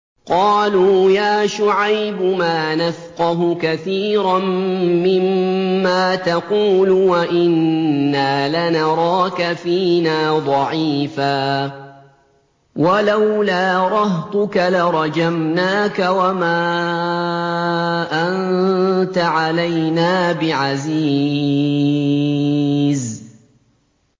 قَالُوا يَا شُعَيْبُ مَا نَفْقَهُ كَثِيرًا مِّمَّا تَقُولُ وَإِنَّا لَنَرَاكَ فِينَا ضَعِيفًا ۖ وَلَوْلَا رَهْطُكَ لَرَجَمْنَاكَ ۖ وَمَا أَنتَ عَلَيْنَا بِعَزِيزٍ